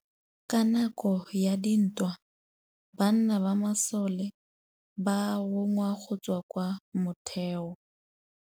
Ka nakô ya dintwa banna ba masole ba rongwa go tswa kwa mothêô.